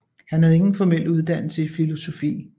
Han havde ingen formel uddannelse i filosofi